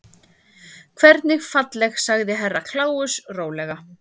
Hvernig falleg sagði Herra Kláus rólega.